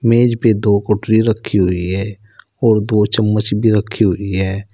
मेज पे दो कटोरी रखी हुई है और दो चम्मच भी रखी हुई है।